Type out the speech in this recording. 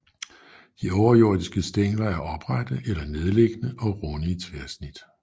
De overjordiske stængler er oprette eller nedliggende og runde i tværsnit